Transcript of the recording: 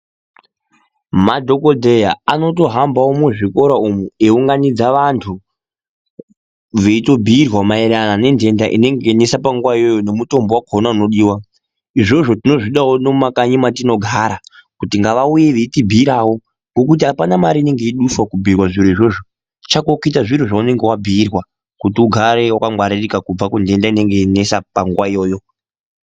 Madhokodheya anotohambawo muzvikora umu eiunganidza vantu veitobhiirwa maererano nendenda inenge yeinesa panguwa iwayo nemutombo wakona unodiwa , izvozvo tinozvida nomumakanyi matinogara kuti ngavauye veitibhirawo ngokuti apana mare inenge yeiduswa kubhirwa zviro izvozvo chako kuita zviro zvaunenge wabhiirwa kuti ugare wakangwaririkw kubva kundenda inenge yeinesa panguwa iyoyo.